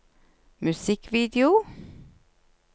musikkvideo